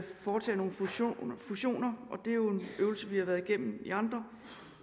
foretage nogle fusioner fusioner og det er jo en øvelse vi har været igennem i andre